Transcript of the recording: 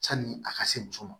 Sanni a ka se muso ma